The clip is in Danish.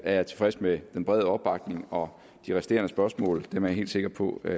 jeg tilfreds med den brede opbakning og de resterende spørgsmål er jeg helt sikker på eller